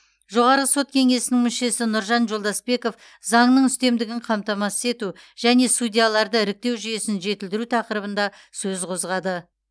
жоғарғы сот кеңесінің мүшесі нұржан жолдасбеков заңның үстемдігін қамтамасыз ету және судьяларды іріктеу жүйесін жетілдіру тақырыбында сөз қозғады